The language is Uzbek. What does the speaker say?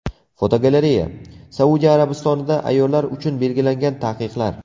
Fotogalereya: Saudiya Arabistonida ayollar uchun belgilangan taqiqlar.